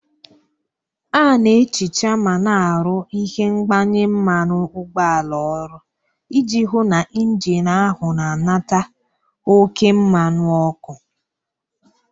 A na-ehicha ma na-arụ ihe mgbanye mmanụ ụgbọala ọrụ iji hụ na injin ahụ na-anata oke mmanụ ọkụ